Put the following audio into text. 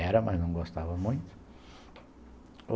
Era, mas não gostava muito.